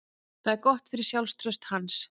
Það er gott fyrir sjálfstraust hans.